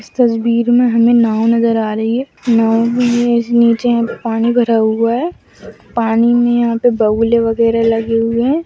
इस तस्वीर में हमें नाव नजर आ रही है नाव में निचे पानी भरा हुआ है पानी में यहां पे बगुले वगैरा लगे हुए है।